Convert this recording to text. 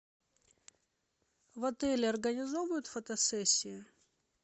в отеле организовывают фотосессию